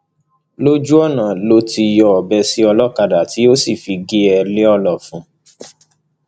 lójú ọnà ló ti yọ ọbẹ sí olókàdá tó sì fi gé e lọnà ọfun